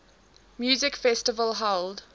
music festival held